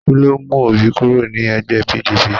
Kí ló mú Òbí kúrò ní ẹgbẹ́ PDP?